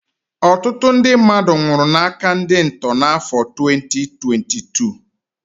Ọtụtụ ndị mmadụ nwụrụ n'áká ndị ntọ n'afọ 2022